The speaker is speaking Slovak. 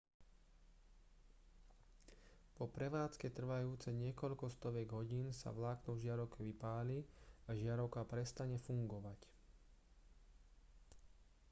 po prevádzke trvajúcej niekoľko stoviek hodín sa vlákno v žiarovke vypáli a žiarovka prestane fungovať